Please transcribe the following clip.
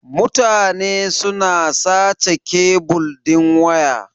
Mutane suna sace kebil din waya.